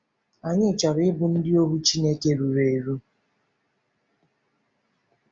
Anyị chọrọ ịbụ ndị ohu Chineke ruru eru.